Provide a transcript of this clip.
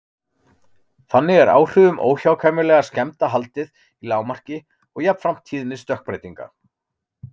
Þannig er áhrifum óhjákvæmilegra skemmda haldið í lágmarki og jafnframt tíðni stökkbreytinga.